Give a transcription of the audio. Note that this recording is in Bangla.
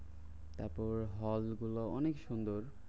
তারপর হল গুলা অনেক সুন্দর।